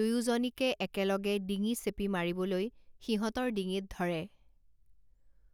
দুয়োজনীকে একেলগে ডিঙি চেপি মাৰিবলৈ সিহঁতৰ ডিঙিত ধৰে।